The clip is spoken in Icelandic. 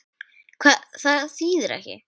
Hvað þýðir ekki?